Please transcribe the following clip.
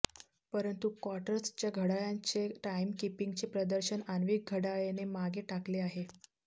परंतु क्वार्ट्जच्या घड्याळांचे टाइमकिपिंगचे प्रदर्शन आण्विक घड्याळेने मागे टाकले आहे